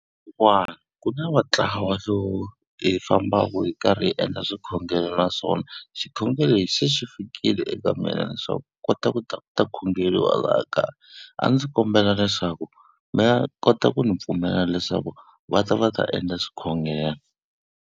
ku na va ntlawa lowu hi fambaku hi karhi hi endla swikhongelo naswona xikhongelo lexi xi fikile eka mina leswaku hi kota ku ta ku ta khongeriwa laha kaya, a ndzi kombela leswaku mi kota ku ndzi pfumela leswaku va ta va ta endla swikhongelo.